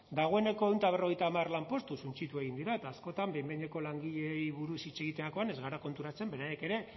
dagoeneko ehun eta berrogeita hamar lanpostu suntsitu egin dira eta askotan behin behineko langileei buruz hitz egiterakoan ez gara konturatzen beraiek ere